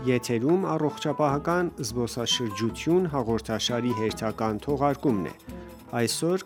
եթերում «Առողջապահական զբոսաշրջություն» հաղորդաշարի հերթական թողարկումն է: Այսօր